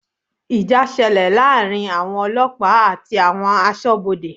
Ìjà ṣẹlẹ̀ láàrin àwọn ọlọ́pàá àti àwọn Aṣọ́bodè